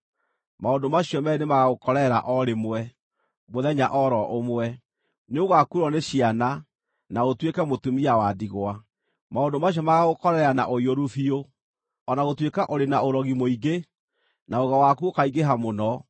Maũndũ macio meerĩ nĩmagagũkorerera o rĩmwe, mũthenya o ro ũmwe: nĩũgakuĩrwo nĩ ciana, na ũtuĩke mũtumia wa ndigwa. Maũndũ macio magaagũkorerera na ũiyũru biũ, o na gũtuĩka ũrĩ na ũrogi mũingĩ, na ũgo waku ũkaingĩha mũno.